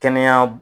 Kɛnɛya